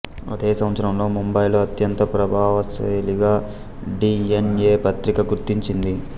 అదే సంవత్సరంలో ముంబైలో అత్యంత ప్రభావశీలిగా డిఎన్ఎ పత్రిక గుర్తించింది